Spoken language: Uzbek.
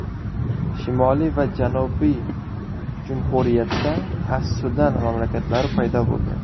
Shimoliy va janubiy jumhuriyatda as-Sudan mamlakatlari paydo bo‘ldi.